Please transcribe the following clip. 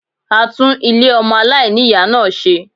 A tún Ilé ọmọ aláìní-Ìyá náà ṣe